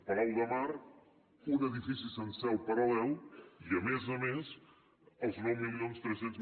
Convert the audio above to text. palau de mar un edifici sencer al paral·lel i a més a més els nou mil tres cents